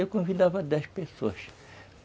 Eu convidava dez pessoas.